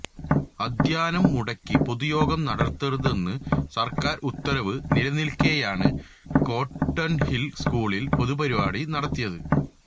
അദ്ധ്യയനം മുടക്കി പൊതുയോഗം നടത്തരുതെന്ന് സര്ക്കാര് ഉത്തരവ് നിലനില്ക്കെയാണ് കോട്ടണ്ഹില് സ്കൂളില് പൊതുപരിപാടി നടത്തിയത്